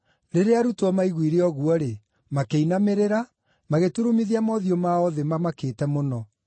Rĩrĩa arutwo maiguire ũguo-rĩ, makĩinamĩrĩra, magĩturumithia mothiũ mao thĩ mamakĩte mũno.